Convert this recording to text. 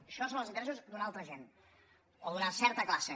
això són els interessos d’una altra gent o d’una certa classe